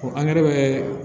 angɛrɛ bɛ